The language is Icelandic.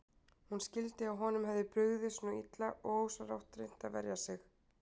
Hún skildi að honum hefði brugðið svona illa og ósjálfrátt reynt að verja sig.